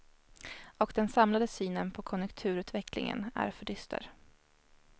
Och den samlade synen på konjunkturutvecklingen är för dyster.